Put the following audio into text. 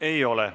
Ei ole.